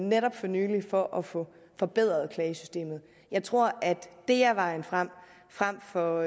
netop for nylig for at få forbedret klagesystemet jeg tror at det er vejen frem frem for